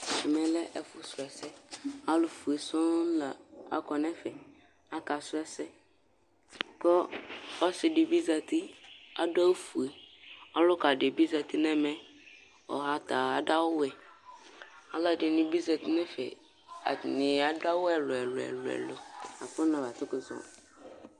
ɛmɛ lɛ ɛfo srɔɛsɛ alo fue sɔŋ la akɔ n'ɛfɛ aka srɔ ɛsɛ ko ɔse di bi zati ado awu fue ɔloka di bi zati n'ɛmɛ ɔta ado awu alo ɛdini bi zati n'ɛfɛ atani ado awu ɛlò ɛlò ɛlò ko na ma kótó zɔ